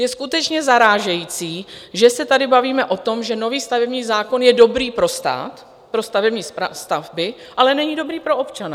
Je skutečně zarážející, že se tady bavíme o tom, že nový stavební zákon je dobrý pro stát, pro stavební stavby, ale není dobrý pro občana.